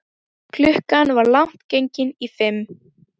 Klukkan var langt gengin í fimm.